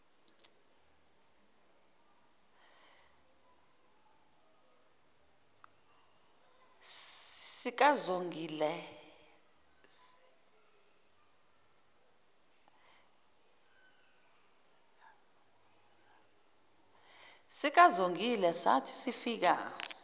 sikazongile sathi sifika